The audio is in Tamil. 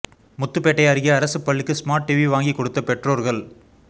முத்துப்பேட்டை அருகே அரசு பள்ளிக்கு ஸ்மார்ட் டிவி வாங்கி கொடுத்த பெற்றோர்கள்